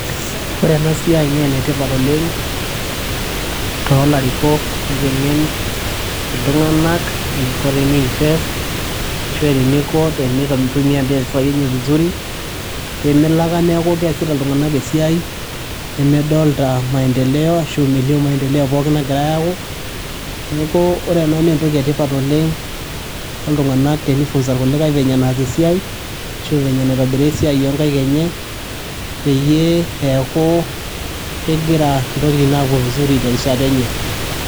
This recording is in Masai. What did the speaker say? ore ena siai naa enetipat oleng tolarikok teniteng'en iltung'anak eniko teni invest ashua teniko tenitumia impisai enye vizuri pemelo ake neeku keesita iltung'anak esiai nemedolta maendeleo ashu melio maendeleo pookin nagirae ayaku neku ore ena naa entoki etipat oleng toltung'anak teni funza irkulikae venye enaas esiai ashu venye enaitobiraa esiai onkaik enye peyie eeku kegira intokitin apuo vizuri terishata enye.